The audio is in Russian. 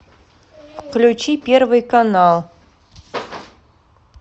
включи первый канал